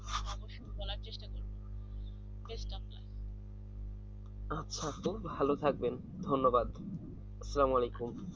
আচ্ছা তো ভাল থাকেন ধন্যবাদ আসসালামু আলাইকুম